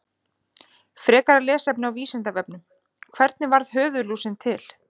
Frekara lesefni á Vísindavefnum: Hvernig varð höfuðlúsin til?